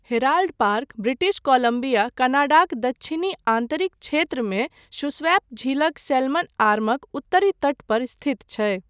Herald Park British Columbia, कनाडाक दक्षिणी आन्तरिक क्षेत्रमे शूस्वैप झीलक सैल्मन आर्मक उत्तरी तट पर स्थित छै।